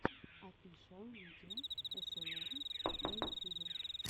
офишиал видео эсэлэр на ютюбе